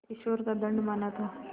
ईश्वर का दंड माना था